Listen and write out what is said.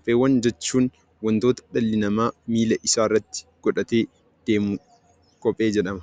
Kophee jechuun wantoota dhalli namaa miila isaatti godhatee deemudha.